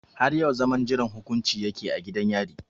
Har yau zaman jiran hukunci ya ke a gidan yari.